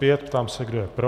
Ptám se, kdo je pro.